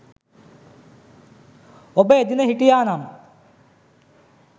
ඔබ එදින හිටියා නම්